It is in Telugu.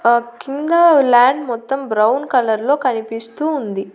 ఆ కింద ల్యాండ్ మొత్తం బ్రౌన్ కలర్లో కనిపిస్తూ ఉంది.